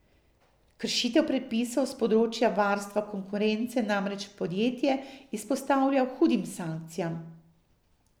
Kršitev predpisov s področja varstva konkurence namreč podjetje izpostavlja hudim sankcijam.